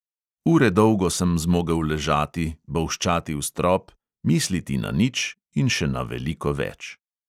Ure dolgo sem zmogel ležati, bolščati v strop, misliti na nič in še na veliko več.